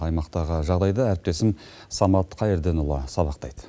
аймақтағы жағдайды әріптесім самат қайырденұлы сабақтайды